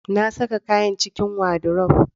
Na saka kayan cikin wadirof